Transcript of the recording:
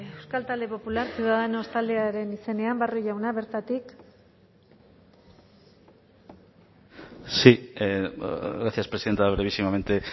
euskal talde popular ciudadanos taldearen izenean barrio jauna bertatik sí gracias presidenta brevísimamente